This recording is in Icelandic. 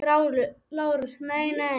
LÁRUS: Nei, nei!